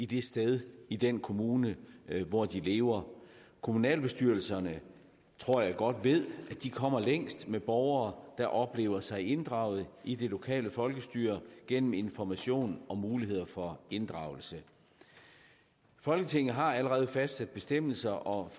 det sted i den kommune hvor de lever kommunalbestyrelserne tror jeg godt ved at de kommer længst med borgere der oplever sig inddraget i det lokale folkestyre gennem information om muligheder for inddragelse folketinget har allerede fastsat bestemmelser om